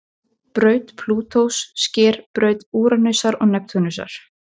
Braut Plútós sker braut Úranusar og Neptúnusar.